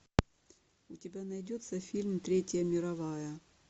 у тебя найдется фильм третья мировая